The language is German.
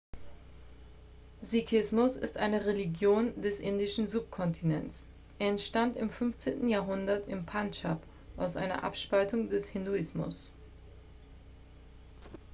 sikhismus ist eine religion des indischen subkontinents er entstand im 15. jahrhundert im pandschab aus einer abspaltung des hinduismus